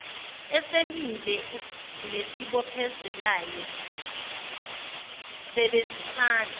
esimile nesibophezelayo sebenzisana